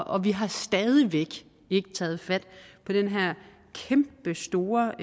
og vi har stadig væk ikke taget fat på den her kæmpestore